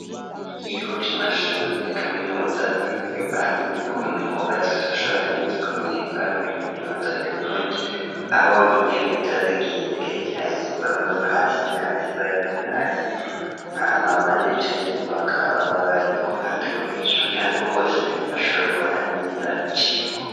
Ikigo c'amashure ya kaminuza bivanye no kuntu cububatse kutbashobora neza kumenyeko hari muri kaminuza y'uburundi aho intebe ziba zigiye zigerekeranye bamwe hasi hasi bari hasi aha ma bandi bicaye inyuma bakaba baba bari ku ruhande guhesera kugira ngo bose bashobore kubona neza icigwa.